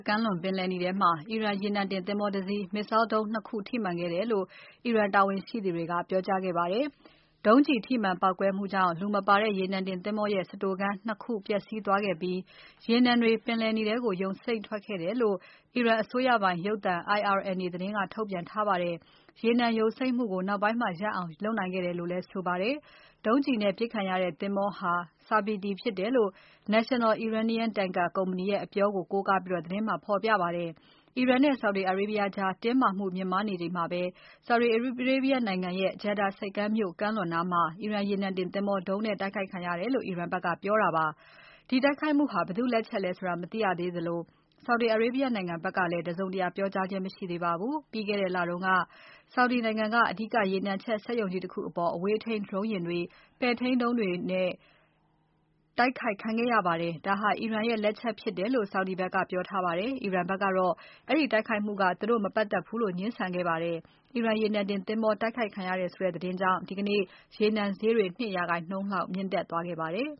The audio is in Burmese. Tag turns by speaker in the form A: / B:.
A: ကမ်းလွန် ပင်လယ်နီထဲမှာ အီရန်ရေနံတင်သင်္ဘော တ စီး missile ဒုံး နှစ် ခု ထိမှန်ခဲ့တယ်လို့ အီရန်တာဝန်ရှိသူတွေက ပြောကြားခဲ့ပါတယ်။ ဒုံးကျည်ထိမှန် ပေါက်ကွဲမှုကြောင့် ရေနံတင်သင်္ဘောရဲ့ စတိုခန်း နှစ်ခု ပျက်စီးသွားခဲ့ပြီး ရေနံတွေ ပင်လယ်နီထဲကို ယိုစိမ့်ထွက်ခဲ့တယ်လို့ အီရန်အစိုးရပိုင်ရုပ်သံ IRNA က သတင်းထုတ်ပြန်ပါတယ်။ ရေနံယိုစိမ့်မှုကို နောက်ပိုင်းမှာ ရပ်အောင် လုပ်နိုင်ခဲ့တယ်လို့လည်း ဆိုပါတယ်။ ဒုံးကျည်နဲ့ ပစ်ခံရတဲ့ သင်္ဘောဟာ Sabiti ဖြစ်တယ်လို့ National Iranian Tanker ကုမ္ပဏီရဲ့ အပြောကို ကိုးကားပြီး သတင်းမှာ ဖော်ပြပါတယ်။ အီရန်နဲ့ Saudi Arabia ကြား တင်းမာမှု မြင့်မားနေချိန်မှာ Saudi ရဲ့ Jiddah ဆိပ်ကမ်းမြို့ ကမ်းလွန်နားမှာ အီရန်ရေနံတင်သင်္ဘောဒုံးနဲ့ တိုက်ခိုက်ခံရတယ်လို့ အီရန်ဘက်က ပြောတာဖြစ်ပါတယ်။ ဒီတိုက်ခိုက်မှုဟာ ဘယ်သူ့လက်ချက်လဲဆိုတာ မသိရသေးသလို Saudi Arabia နိုင်ငံဘက်ကလည်း တစုံတရာပြောကြားခြင်း မရှိသေးပါဘူး ပြီးခဲ့တဲ့ လ တုန်းက Saudi Arabia နိုင်ငံက အဓိကရေနံချက် စက်ရုံကြီးတခုအပေါ် အဝေးထိန်း Drone ယာဉ်တွေ ပဲ့ထိန်းဒုံးတွေနဲ့ တိုက်ခိုက်ခံခဲ့ရပါတယ်။ ဒါဟာ အီရန်ရဲ့ လက်ချက်ဖြစ်တယ်လို့ Saudi ဘက်က ပြောထားပါတယ်။ အီရန်ဘက်ကတော့ အဲဒီတိုက်ခိုက်မှုက သူတို့နဲ့ မပတ်သက်ဘူးလို့ ငြင်းဆန်ခဲ့ပါတယ်။ အီရန်ရေနံတင်သင်္ဘော တိုက်ခိုက်ခံရတယ်ဆိုတဲ့ သတင်းကြောင့် ရေနံဈေးတွေ ဒီနေ့ ၂ ရာခိုင်နှုန်းလောက် မြင့်တက်သွားခဲ့ပါတ
B: ယ်